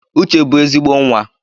Uche bụ ezigbo nwa